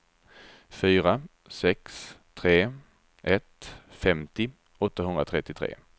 fyra sex tre ett femtio åttahundratrettiotre